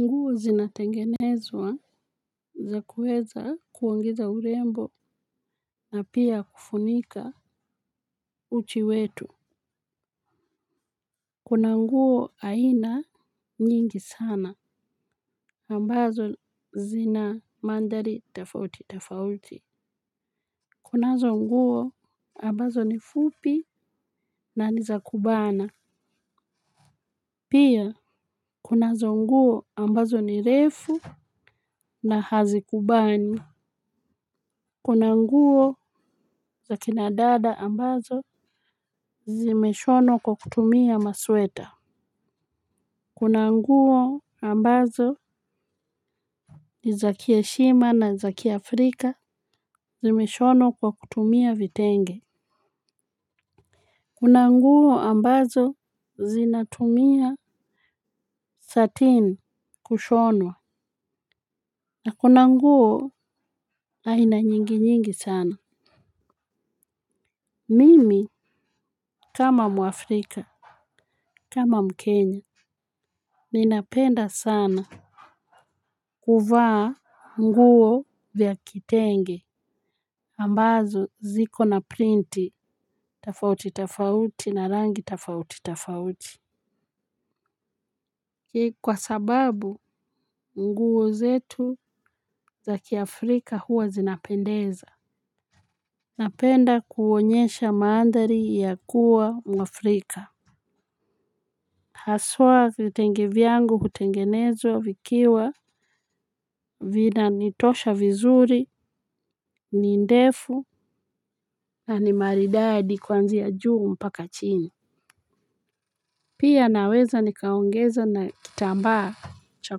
Nguo zinatengenezwa za kuweza kuongeza urembo na pia kufunika uchi wetu. Kuna nguo aina nyingi sana ambazo zina mandhari tofauti tofauti. Kunazo nguo ambazo ni fupi na ni za kubana. Pia kunazo nguo ambazo ni refu na hazikubani. Kuna nguo za kina dada ambazo zimeshonwa kwa kutumia masweta. Kuna nguo ambazo ni za kiheshima na za kiafrika zimeshonwa kwa kutumia vitenge. Kuna nguo ambazo zinatumia satin kushonwa. Na kuna nguo aina nyingi nyingi sana. Mimi kama mwafrika kama mkenya ninapenda sana. Kuvaa nguo vya kitenge ambazo ziko na printi tofauti tofauti na rangi tofauti tofauti. Kwa sababu nguo zetu za kiafrika huwa zinapendeza. Napenda kuonyesha mandhari ya kuwa mwafrika. Haswa vitenge vyangu hutengenezwa vikiwa vinanitosha vizuri ni ndefu. Na ni maridadi kuanzia juu mpaka chini. Pia naweza nikaongeza na kitambaa cha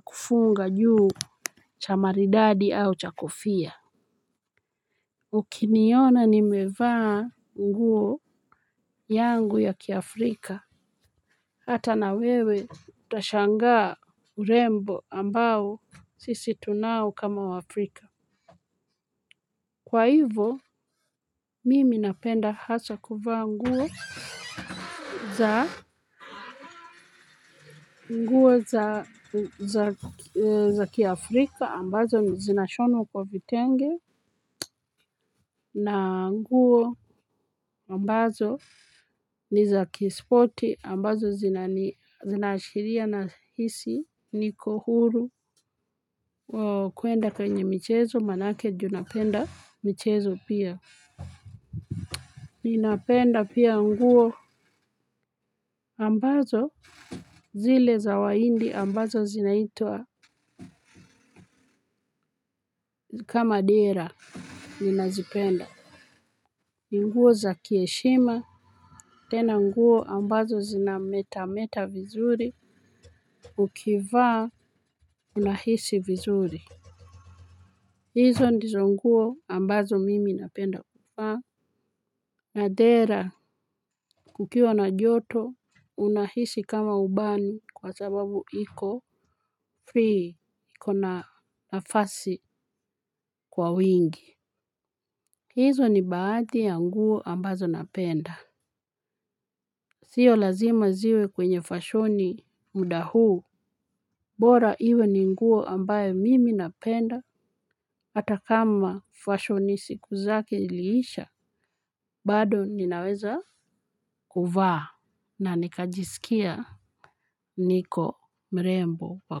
kufunga juu cha maridadi au cha kofia. Ukiniona nimevaa nguo yangu ya kiafrika. Hata na wewe utashangaa urembo ambao sisi tunao kama waafrika. Kwa hivo, mimi napenda hasa kuvaa nguo za nguo za kiafrika, ambazo zinashonwa kwa vitenge, na nguo ambazo ni za kispoti, ambazo zinani zinaashiria nahisi, niko huru, kuenda kwenye michezo, manake juu napenda michezo pia. Ninapenda pia nguo ambazo zile za wahindi ambazo zinaitwa kama dera ninazipenda ni nguo za kiheshima tena nguo ambazo zinametameta vizuri ukivaa unahisi vizuri. Hizo ndizo nguo ambazo mimi napenda kuvaa. Na dera kukiwa na joto unahisi kama hubani kwa sababu iko free iko na nafasi kwa wingi. Hizo ni baadhi ya nguo ambazo napenda. Sio lazima ziwe kwenye fashoni muda huu bora iwe ni nguo ambayo mimi napenda hata kama fashoni siku zake iliisha bado ninaweza kuvaa. Na nikajisikia niko mrembo wa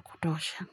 kutosha.